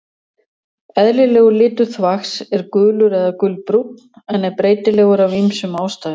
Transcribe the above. Eðlilegur litur þvags er gulur eða gulbrúnn en er breytilegur af ýmsum ástæðum.